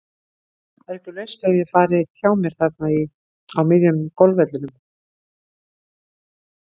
Það er ekki laust við að ég fari hjá mér þarna á miðjum golfvellinum.